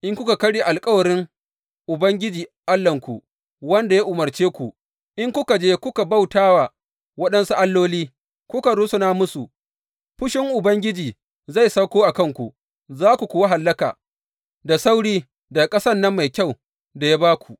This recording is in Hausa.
In kuka karya alkawarin Ubangiji Allahnku wanda ya umarce ku, in kuka je kuka bauta wa waɗansu alloli, kuka rusuna musu, fushin Ubangiji zai sauko a kanku, za ku kuwa hallaka da sauri daga ƙasan nan mai kyau da ya ba ku.